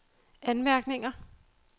anmærkninger